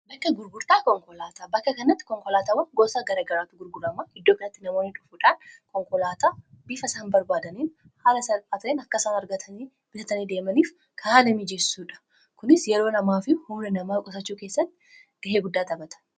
bakka gurgurtaa konkolaataa bakka kannatti konkolaataawwan gosa garagaraatu gurgurama iddoo kanatti namoonni dhunfaadhaan konkolaataa bifa isaan barbaadaniin haala salphaa ta'een akkasaan argatanii bitatanii deemaniif kan haala miijeessuudha kunis yeroo namaa fi humni namaa qusachuu keessatti ga'ee guddaa xabata